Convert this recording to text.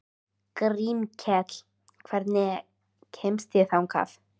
Grímkell, hvernig kemst ég þangað?